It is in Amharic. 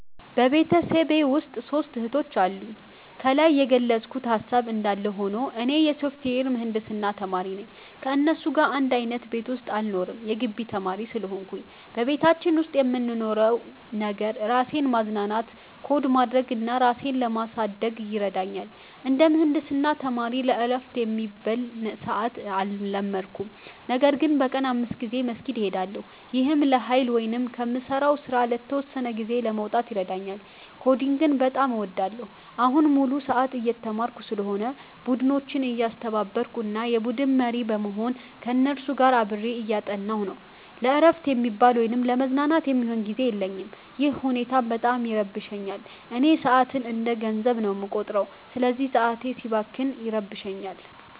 ቤተሰቤ ውስጥ ሦስት እህቶች አሉኝ። ከላይ የገለጽኩት ሃሳብ እንዳለ ሆኖ፣ እኔ የሶፍትዌር ምህንድስና ተማሪ ነኝ። ከእነሱ ጋር አንድ አይነት ቤት ውስጥ አልኖርም የጊቢ ተማሪ ስለሆንኩኝ። በቤታችን ውስጥ የምንኖረው ነገር፣ ራሴን ለማዝናናት ኮድ ማድረግ እና ራሴን ለማሳደግ ይረዳኛል። እንደ ምህንድስና ተማሪ ለዕረፍት የሚባል ሰዓት አልመደብኩም፤ ነገር ግን በቀን 5 ጊዜ መስጊድ እሄዳለሁ። ይህም ለኃይል ወይም ከምሠራው ሥራ ለተወሰነ ጊዜ ለመውጣት ይረዳኛል። ኮዲንግን በጣም እወዳለሁ። አሁን ሙሉ ሰዓት እየተማርኩ ስለሆነ፣ ቡድኖችን እያስተባበርኩ እና የቡድን መሪ በመሆን ከእነሱ ጋር አብሬ እያጠናሁ ነው። ለዕረፍት የሚባል ወይም ለመዝናናት የሚሆን ጊዜ የለኝም፤ ይህ ሁኔታም በጣም ይረብሸኛል። እኔ ሰዓትን እንደ ገንዘብ ነው የምቆጥረው፤ ስለዚህ ሰዓቴ ሲባክን ይረብሸኛል